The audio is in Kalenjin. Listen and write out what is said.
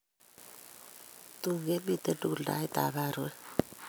Tun kemitei tugul taitab aruet